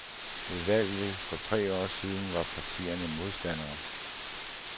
Ved valget for tre år siden var partierne modstandere.